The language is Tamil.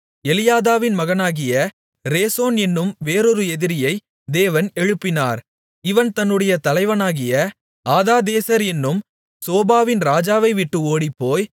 எலியாதாவின் மகனாகிய ரேசோன் என்னும் வேறொரு எதிரியை தேவன் எழுப்பினார் இவன் தன்னுடைய தலைவனாகிய ஆதாதேசர் என்னும் சோபாவின் ராஜாவைவிட்டு ஓடிப்போய்